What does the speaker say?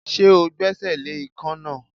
Ṣé o gbẹ́sẹ̀ le ikán náà?